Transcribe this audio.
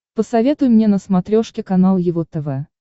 посоветуй мне на смотрешке канал его тв